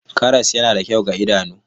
Karas yana da kyau ga idanu.